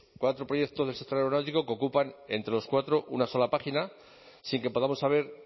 cuatro proyectos del sector aeronáutico que ocupan entre los cuatro una sola página sin que podamos saber